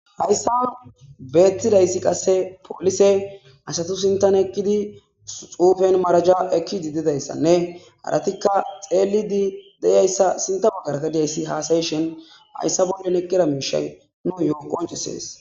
hayssa beettizayssi qasse polise asatu sintan eqqidi xuufen maraja ekkidi didayssanne aratikka xeelidi deyayssa sinta baggarta diyayssi haasayishin hayssa bollen eqkira miisha nuyo qoncisees.